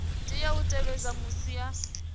tea u tevhedza musi a